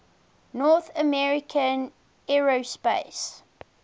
north american aerospace